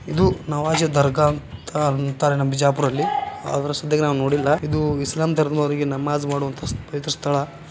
ಇದು ನವಾಜ್ ದರ್ಗಾ ಅಂತ ಅಂತರೆ ನಮ್ಮ ಬಿಜಾಪುರದಲ್ಲಿ ಆದ್ರೆ ಸದ್ಯಕ್ಕೆ ನಾವು ನೋಡಿಲ್ಲ. ಇದು ಇಸ್ಲಾಂ ಧರ್ಮದವ್ರಿಗ್ ನಮಾಜ್ ಮಾಡುವಂತ ಪವಿತ್ರ ಸ್ಥಳ.